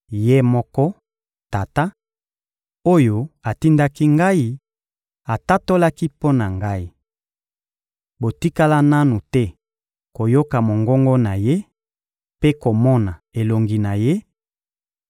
Ye moko, Tata, oyo atindaki Ngai atatolaki mpo na Ngai. Botikala nanu te koyoka mongongo na Ye mpe komona elongi na Ye;